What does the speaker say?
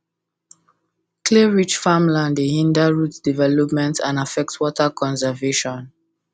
clayrich farmland dey hinder root development and affect water conservation